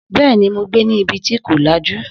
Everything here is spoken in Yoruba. Bẹ́ẹ̀ni, mo gbé ní ibi tí kò lajú